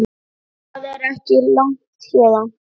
Það er ekki langt héðan.